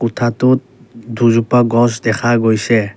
কোঠাটোত দুজোপা গছ দেখা গৈছে।